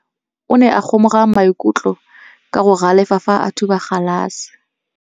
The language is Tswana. Morwa wa me o ne a kgomoga maikutlo ka go galefa fa a thuba galase.